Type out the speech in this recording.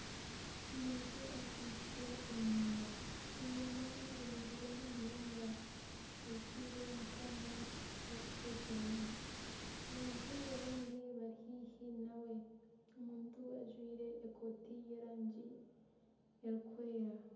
Omuntu akwitse enyama, enyama zinuzire munonga azitaire omukooma aku barikutekyeramu abantu abandi bari haihi nawe omuntu ajwaire ekooti y'erangi erikwera.